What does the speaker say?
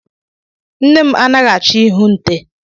Nne m anaghị achọ ihu nte.